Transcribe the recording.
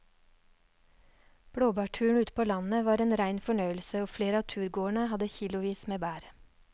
Blåbærturen ute på landet var en rein fornøyelse og flere av turgåerene hadde kilosvis med bær.